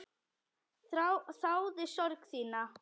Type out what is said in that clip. Þáði sorg þína.